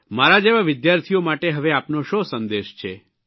મારા જેવા વિદ્યાર્થીઓ માટે હવે આપનો શો સંદેશ છે